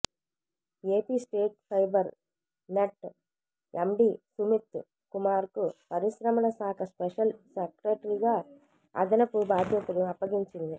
AP state fibre net MD Sumit కుమార్కు పరిశ్రమల శాఖ స్పెషల్ సెక్రటరీగా అదనపు బాధ్యతలు అప్పగించింది